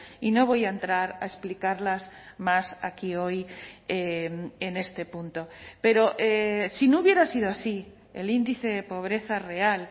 y no voy a entrar a explicarlas más aquí hoy en este punto pero si no hubiera sido así el índice de pobreza real